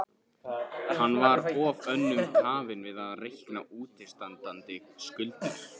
Hann var of önnum kafinn við að reikna útistandandi skuldir.